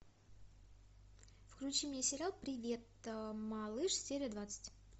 включи мне сериал привет малыш серия двадцать